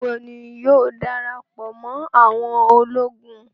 Nigbawo ni iwọ yóò darapọ mọ àwọn ologun?